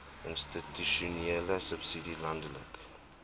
institusionele subsidie landelike